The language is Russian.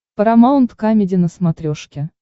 парамаунт камеди на смотрешке